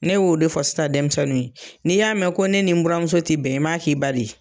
Ne y'o de fɔ sisa denmisɛnnu ye, n'i y'a mɛn ko ne ni n buramuso ti bɛn, i m'a k'i ba de ye.